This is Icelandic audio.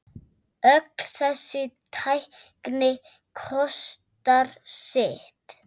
Öll þessi tækni kostar sitt.